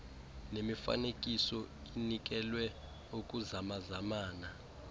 nemifanekiso inikelwe ukuzamazamana